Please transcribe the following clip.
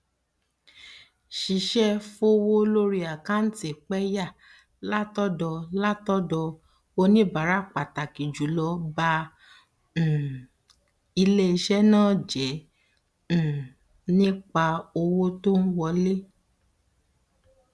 sísẹ fowó lórí àkántì pẹyà látọdọ látọdọ oníbàárà pàtàkì jùlọ ba um iléiṣẹ náà jẹ um nípa owó tó ń wọlé